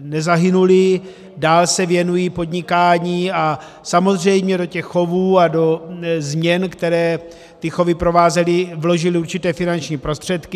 nezahynuli, dál se věnují podnikání a samozřejmě do těch chovů a do změn, které ty chovy provázely, vložili určité finanční prostředky.